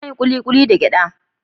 Ana yin kulikuli da gyada.